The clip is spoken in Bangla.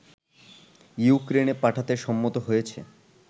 ইউক্রেনে পাঠাতে সম্মত হয়েছে